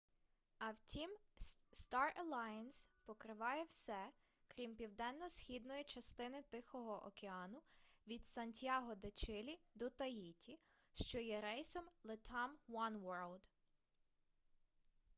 а втім star alliance покриває все крім південно-східної частини тихого океану від сантьяго-де-чилі до таїті що є рейсом latam oneworld